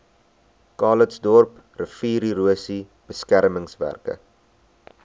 calitzdorp riviererosie beskermingswerke